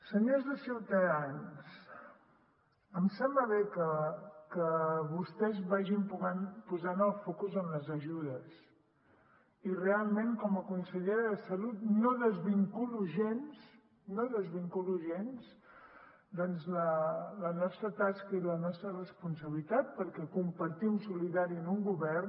senyors de ciutadans em sembla bé que vostès vagin posant el focus en les ajudes i realment com a consellera de salut no desvinculo gens no desvinculo gens la nostra tasca i la nostra responsabilitat perquè compartim solidàriament en un govern